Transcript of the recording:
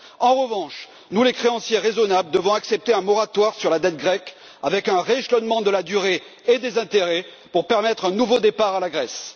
En revanche, nous, les créanciers raisonnables, devons accepter un moratoire sur la dette grecque avec un rééchelonnement de la durée et des intérêts pour permettre un nouveau départ à la Grèce.